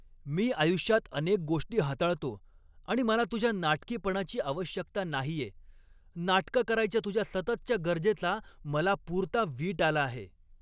मी आयुष्यात अनेक गोष्टी हाताळतो आणि मला तुझ्या नाटकीपणाची आवश्यकता नाहीये. नाटकं करायच्या तुझ्या सततच्या गरजेचा मला पुरता वीट आला आहे.